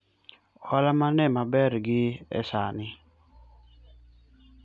ohala mane maber gi e sani?